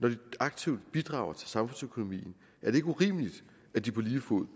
når de aktivt bidrager til samfundsøkonomien er det ikke urimeligt at de på lige fod